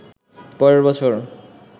পরের বছর